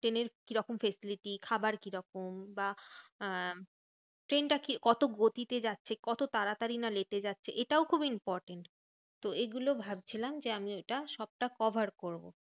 ট্রেনের কিরকম facility? খাবার কিরকম? বা আম ট্রেনটা কি কত গতিতে যাচ্ছে? কত তাড়াতাড়ি না late এ যাচ্ছে? এটাও খুব important. তো এগুলো ভাবছিলাম যে আমি ওটা সবটা cover করবো।